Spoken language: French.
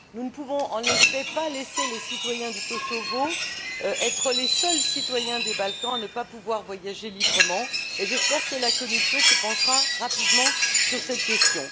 Nous ne pouvons pas, en effet, laisser les citoyens du Kosovo être les seuls citoyens des Balkans à ne pas pouvoir voyager librement et j'espère que la Commission se penchera rapidement sur cette question.